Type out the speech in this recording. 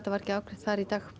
var ekki afgreitt þar í dag